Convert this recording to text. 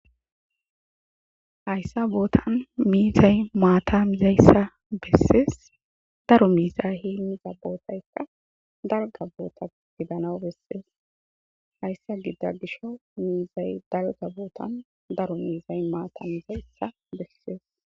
Haysan botan mizay mata mizaysa beses daro mizay hemiza botayka dalga bota gidanaw beses haysa gida gishaw mizay mata mizaysa beses.